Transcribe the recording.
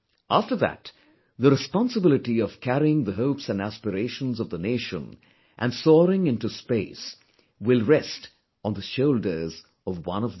After that, the responsibility of carrying the hopes and aspirations of the nation and soaring into space, will rest on the shoulders of one of them